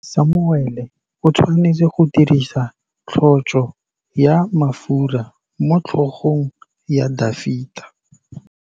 Samuele o tshwanetse go dirisa tlotsô ya mafura motlhôgong ya Dafita.